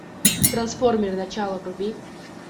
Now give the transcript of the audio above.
трансформеры начало вруби